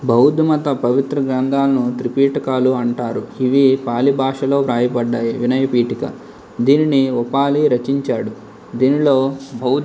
బౌద్ధ మత పవిత్ర గ్రంథాలను త్రిపీటకాలు అంటారు.. ఇవి పాలి భాషలో రాయబడ్డాయి. వినయ పీఠిక. దీన్ని ఒపాలి రచించాడు. దీనిలో బౌద్ధ.